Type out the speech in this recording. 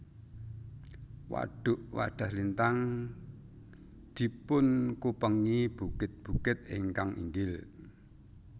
Wadhuk Wadhaslintang dipunkupengi bukit bukit ingkang inggil